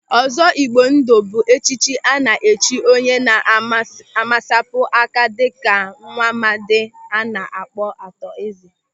Ọzọ Igbo ndụ bụ echichi a na-echi onye na-emesapụ aka dịka Nwamadi a na-akpọ Arthur Eze.